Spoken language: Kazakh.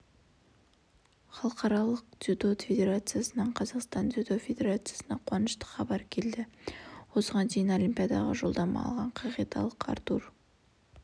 халықаралық дзюдо федерациясынан қазақстан дзюдо федерациясына қуанышты хабар келді осыған дейін олимпиадаға жолдама алған канадалық артур